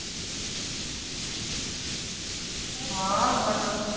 ਹਾ ਬਦਲ